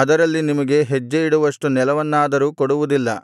ಅದರಲ್ಲಿ ನಿಮಗೆ ಹೆಜ್ಜೆಯಿಡುವಷ್ಟು ನೆಲವನ್ನಾದರೂ ಕೊಡುವುದಿಲ್ಲ